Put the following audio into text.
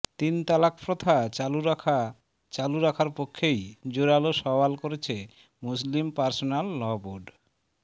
তিন তালাক প্রথা চালু রাখা চালু রাখার পক্ষেই জোরালো সওয়াল করেছে মুসলিম পার্সোনাল ল বোর্ড